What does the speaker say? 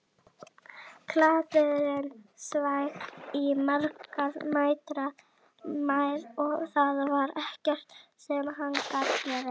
Kláfurinn sveif í margra metra hæð og það var ekkert sem hann gat gert.